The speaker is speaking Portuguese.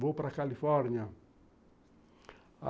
Vou para Califórnia.